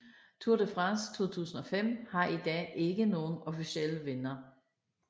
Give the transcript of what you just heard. Tour de France 2005 har i dag ikke nogen officiel vinder